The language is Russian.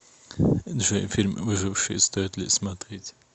джой фильм выживший стоит ли смотреть